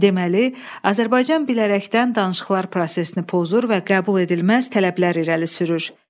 Deməli, Azərbaycan bilərəkdən danışıqlar prosesini pozur və qəbuledilməz tələblər irəli sürür.